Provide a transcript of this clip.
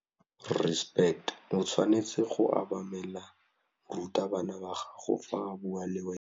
O tshwanetse go obamela morutabana wa gago fa a bua le wena.